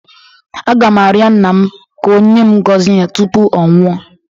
A ga m arịọ nna m ka o nye m ngọzi ya tupu ọ nwụọọ